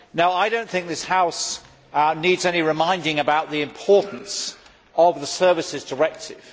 I do not think that this House needs any reminding about the importance of the Services Directive.